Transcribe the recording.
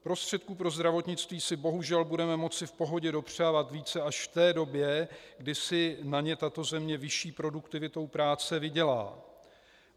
Prostředků pro zdravotnictví si bohužel budeme moci v pohodě dopřávat více až v té době, kdy si na ně tato země vyšší produktivitou práce vydělá.